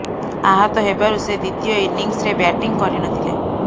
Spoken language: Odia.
ଆହତ ହେବାରୁ ସେ ଦ୍ୱିତୀୟ ଇନିଂସ୍ରେ ବ୍ୟାଟିଂ କରି ନଥିଲେ